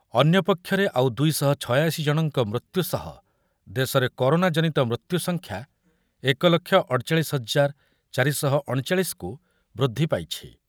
ଅନ୍ୟପକ୍ଷରେ ଆଉ ଦୁଇ ଶହ ଛୟାଅଶି ଜଣଙ୍କ ମୃତ୍ୟୁ ସହ ଦେଶର କରୋନା ଜନିତ ମୃତ୍ୟୁସଂଖ୍ୟା ଏକ ଲକ୍ଷ ଅଠଚାଳିଶି ହଜାର ଚାରିଶହଅଣଚାଳିଶି କୁ ବୃଦ୍ଧି ପାଇଛି।